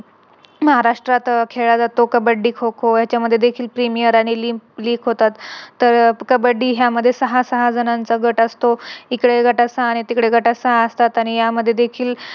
अं महाराष्ट्र्रात खेळाला जातो कब्बडी, खो-खो यांच्यामध्ये देखील होतात. तर कब्बडी यामध्ये सहा सहा जणांचा गट असतो. इकडे गटात सहा आणि तिकडे गटात सहा असतात आणि या मध्ये देखील